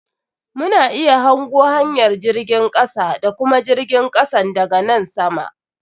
Mu na iya hango hanyar jirgin kasa da kuma jirgin kasan da ga nan sama.